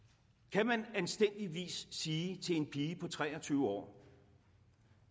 kan man anstændigvis sige til en pige på tre og tyve år